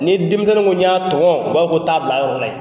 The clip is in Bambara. Ni denmisɛninw ko n y'a tɔmɔu b'a fɔ t'a bil'a yɔrɔ la yen.